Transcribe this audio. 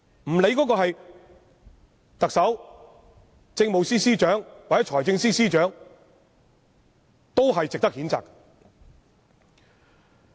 不管那人是特首、政務司司長或財政司司長，同樣應被譴責。